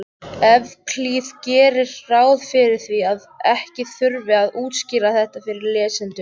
Evklíð gerir ráð fyrir því að ekki þurfi að útskýra þetta fyrir lesendum.